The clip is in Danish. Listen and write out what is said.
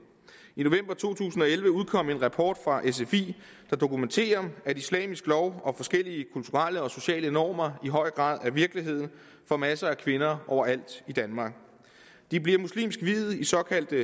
i november to tusind og elleve udkom en rapport fra sfi der dokumenterer at islamisk lov og forskellige kulturelle og sociale normer i høj grad er virkeligheden for masser af kvinder overalt i danmark de bliver muslimsk viet i såkaldte